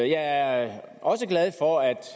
jeg er også glad for at